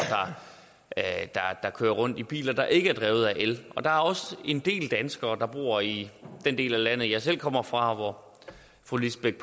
der kører rundt i biler der ikke er drevet af el der er også en del danskere der bor i den del af landet jeg selv kommer fra og hvor fru lisbeth